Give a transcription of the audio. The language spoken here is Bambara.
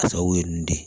A sababu ye n de ye